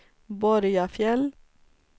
Borgafjäll